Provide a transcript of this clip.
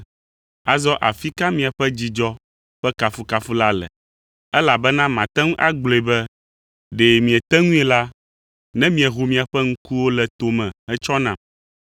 Azɔ afi ka miaƒe dzidzɔ ƒe kafukafu la le? Elabena mate ŋu agblɔe be, ɖe miete ŋui la, ne mieho miaƒe ŋkuwo le to me hetsɔ nam.